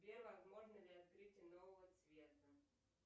сбер возможно ли открытие нового цвета